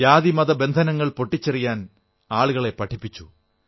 ജാതി മത ബന്ധനങ്ങൾ പൊട്ടിച്ചെറിയാൻ ആളുകളെ പഠിപ്പിച്ചു